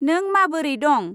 नों माबोरै दं?